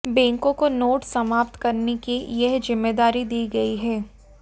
बैंकों को नोट समाप्त करने की यह जिम्मेदारी दी गई है